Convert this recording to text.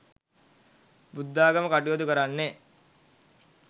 බුද්ධාගම කටයුතු කරන්නේ